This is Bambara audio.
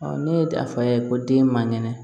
ne ye a fa ye ko den man kɛnɛ